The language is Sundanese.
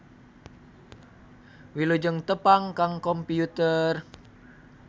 Wilujeng tepang kang Kompiyuter.